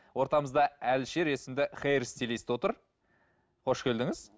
ортамызда алишер есімді хэйр стилист отыр қош келдіңіз